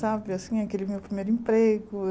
Sabe, assim, aquele meu primeiro emprego eu.